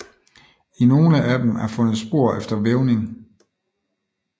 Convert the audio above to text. I nogle af dem er fundet spor efter vævning